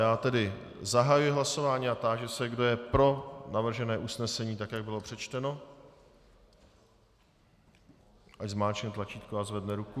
Já tedy zahajuji hlasování a táži se, kdo je pro navržené usnesení, tak jak bylo přečteno, ať zmáčkne tlačítko a zvedne ruku.